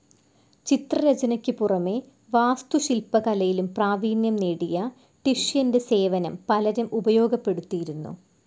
ചിത്രരചനയ്ക്കു പുറമേ വാസ്തുശില്പകലയിലും പ്രാവീണ്യം നേടിയ ടിഷ്യന്റെ സേവനം പലരും ഉപയോഗപ്പെടുത്തിയിരുന്നു.